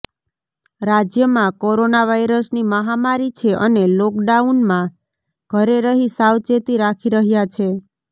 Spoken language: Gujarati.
રાજ્યમાં કોરોના વાઇરસની મહામારી છે અને લોકોડાઉનમાં ઘરે રહી સાવચેતી રાખી રહ્યા છે